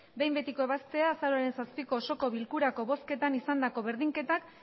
behin betiko ebaztea azaroaren zazpiko osoko bilkurako bozketan izandako berdinketak